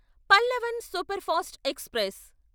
Pallavan superfast express